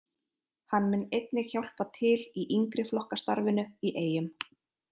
Hann mun einnig hjálpa til í yngri flokka starfinu í Eyjum.